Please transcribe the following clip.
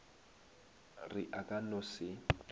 re a ka no se